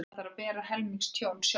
Þarf að bera helming tjónsins sjálfur